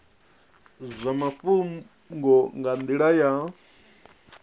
zwa mafhungo nga nila ya